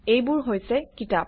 এইবোৰ হৈছে কিতাপ